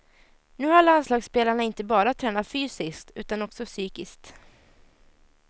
Nu har landslagsspelarna inte bara tränat fysiskt, utan också psykiskt.